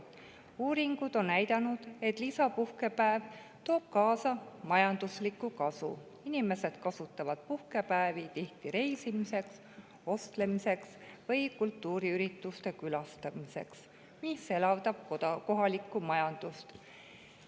Uuringud on näidanud, et lisapuhkepäev toob kaasa majandusliku kasu: inimesed kasutavad tihti puhkepäevi reisimiseks, ostlemiseks või kultuuriürituste külastamiseks, mis elavdab kohalikku majandust.